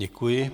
Děkuji.